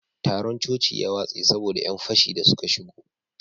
taron coci ya watse saboda yan fashi da suka shigo